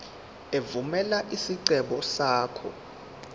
evumela isicelo sakho